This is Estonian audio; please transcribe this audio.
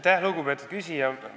Aitäh, lugupeetud küsija!